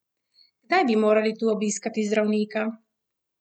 Kdaj bi morali tu obiskati zdravnika?